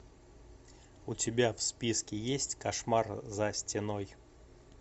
у тебя в списке есть кошмар за стеной